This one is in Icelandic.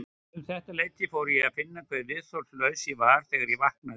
Um þetta leyti fór ég að finna hve viðþolslaus ég var þegar ég vaknaði.